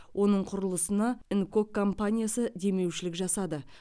оның құрылысына нкок компаниясы демеушілік жасады